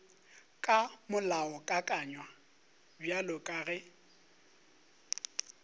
ka molaokakanywa bjalo ka ge